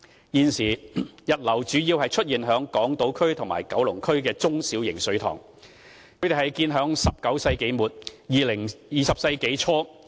現時，溢流主要出現於港島區和九龍區的中、小型水塘，它們都是建於19世紀末、20世紀初。